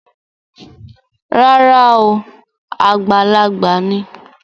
Rárá o, àgbàlagbà ni